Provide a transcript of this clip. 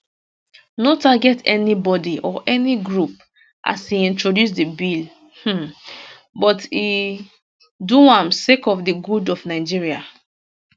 no target anybodi or any group as e introduce di bill um but e do am sake of di good of nigeria